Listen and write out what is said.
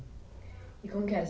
E como que é?